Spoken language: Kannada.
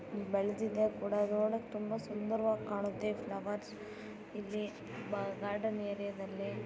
ಬೆಳ್ದಿದೆ ಕೂಡ ನೋಡಕ್ ತುಂಬಾ ಸುಂದರವಾಗ್ ಕಾಣತ್ತೆ ಈ ಫ್ಲವರ್ಸ್ ಇಲ್ಲಿ ಬ ಗಾರ್ಡನ್ ಏರಿಯಾದಲ್ಲಿ --